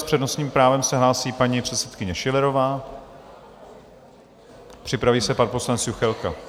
S přednostním právem se hlásí paní předsedkyně Schillerová, připraví se pan poslanec Juchelka.